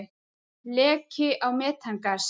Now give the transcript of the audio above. Leki á metangasi.